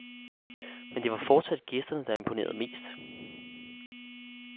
Men det var fortsat gæsterne, der imponerede mest.